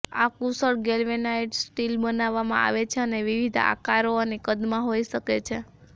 આ કુશળ galvanised steel બનાવવામાં આવે છે અને વિવિધ આકારો અને કદમાં હોઈ શકે છે